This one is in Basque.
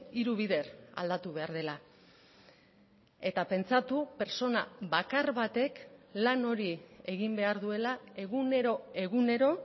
hiru bider aldatu behar dela eta pentsatu pertsona bakar batek lan hori egin behar duela egunero egunero